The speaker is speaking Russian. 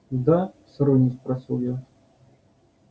да с иронией спросил я